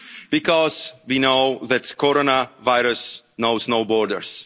those in need, because we know that coronavirus knows